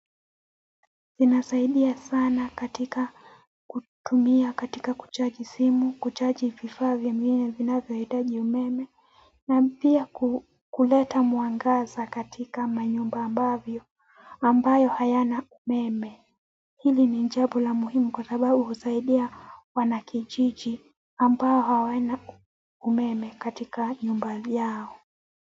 Zinasaidia sana katika kutumia, katika kuchaji simu, kuchaji vifaa ningine vinavyohitaji umeme na pia kuleta mwangaza katika manyumba ambavyo ambayo hayana umeme hili ni jambo la muhimu kwa sababu husaidia wanakijiji ambao hawana umeme katika nyumba yao.